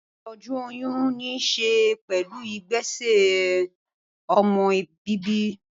Ìtọ́jú oyún ní ṣe pẹ̀lú ìgbésẹ̀ ọmọ bíbí